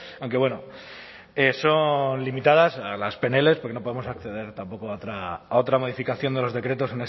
aunque bueno son limitadas las pnls porque no podemos acceder tampoco a otra modificación de los decretos